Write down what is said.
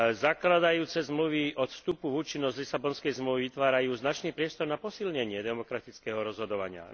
Zakladajúce zmluvy od vstupu v účinnosť Lisabonskej zmluvy vytvárajú značný priestor na posilnenie demokratického rozhodovania.